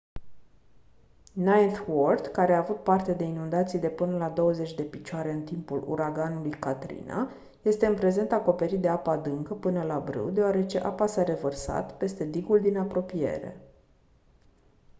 ninth ward care a avut parte de inundații de până la 20 de picioare în timpul uraganului katrina este în prezent acoperit de apă adâncă până la brâu deoarece apa s-a revărsat peste digul din apropiere